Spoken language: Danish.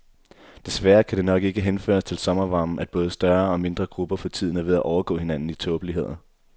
Desværre kan det nok ikke henføres til sommervarmen, at både større og mindre grupper for tiden er ved at overgå hinanden i tåbeligheder.